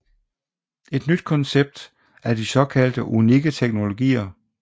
Et nyt koncept er de såkaldte unikke teknologier